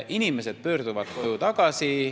Inimesed pöörduvad koju tagasi.